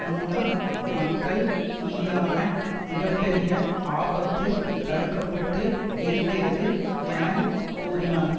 மூலம் மக்கள் மீதான மிக பெரிய ஆபத்து தடுக்க பட்டு இருக்கிறது என கூறினார்